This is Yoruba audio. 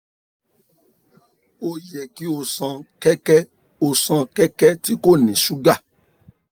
o yẹ ki o ṣan kẹkẹ o ṣan kẹkẹ ti ko ni suga